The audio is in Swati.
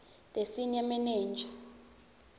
the senior manager